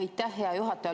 Aitäh, hea juhataja!